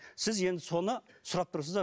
сіз енді соны сұрап тұрсыз да